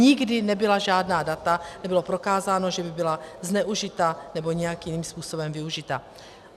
Nikdy nebyla žádná data, nebylo prokázáno, že by byla zneužita nebo nějakým jiným způsobem využita.